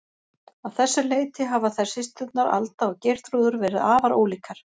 Að þessu leyti hafa þær systurnar, Alda og Geirþrúður, verið afar ólíkar.